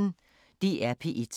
DR P1